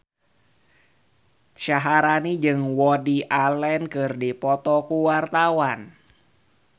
Syaharani jeung Woody Allen keur dipoto ku wartawan